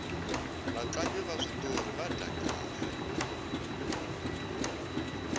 vatlangi va switori va dya kahle